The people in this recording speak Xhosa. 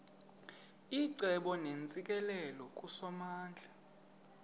icebo neentsikelelo kusomandla